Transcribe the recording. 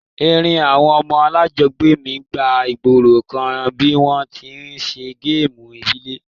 Èrin àwon ọmọ alájogbé mi gba ìgborokan bi won ti n se game ìbílẹ̀